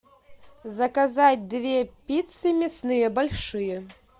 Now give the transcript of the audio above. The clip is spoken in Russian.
заказать две пиццы мясные большие